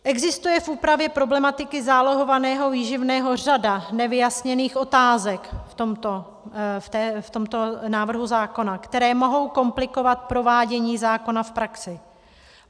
Existuje v úpravě problematiky zálohovaného výživného řada nevyjasněných otázek v tomto návrhu zákona, které mohou komplikovat provádění zákona v praxi.